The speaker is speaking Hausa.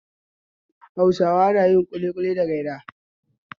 Hausawa na yin ƙuliƙuli da gyada.